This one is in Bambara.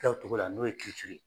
kɛ o cogo la n'o ye ye.